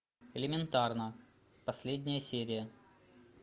элементарно последняя серия